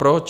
Proč?